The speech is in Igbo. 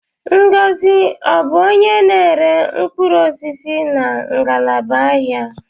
Ngọzi abụ onye na-ere mkpụrụ osisi na ngalaba ahịa?